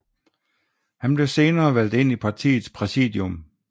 Han blev senere valgt ind i partiets præsidium